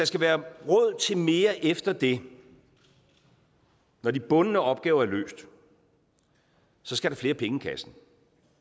skal være råd til mere efter det når de bundne opgaver er løst så skal der flere penge i kassen